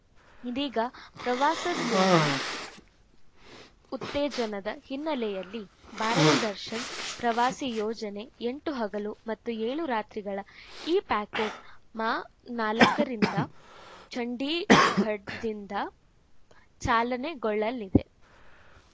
ಇದೀಗ ಪ್ರವಾಸೋದ್ಯಮ ಉತ್ತೇಜನದ ಹಿನ್ನೆಲೆಯಲ್ಲಿ ಭಾರತ ದರ್ಶನ್ ಪ್ರವಾಸಿ ಯೋಜನೆ ಎಂಟು ಹಗಲು ಮತ್ತು ಏಳು ರಾತ್ರಿಗಳ ಈ ಪ್ಯಾಕೆಟ್ ಮಾ ನಾಲ್ಕರಿಂದ ಚಂಡೀಗಡ್ ದಿಂದ ಚಾಲನೆಗೊಳ್ಳಲಿದೆ